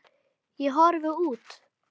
Ég horfi út.